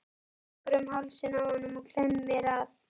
Hún tekur um hálsinn á honum og klemmir að.